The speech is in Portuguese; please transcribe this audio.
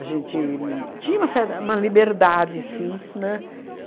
A gente tinha uma cer uma liberdade, sim, né?